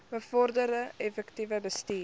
bevorder effektiewe bestuur